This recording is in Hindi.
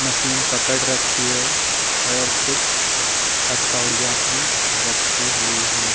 मशीन पकड़ रखी है और कुछ हथोड़ियाँ भी रखी हुई हैं।